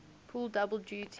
pull double duty